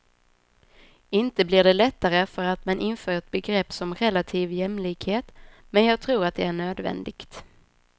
Inte blir det lättare för att man inför ett begrepp som relativ jämlikhet, men jag tror att det är nödvändigt.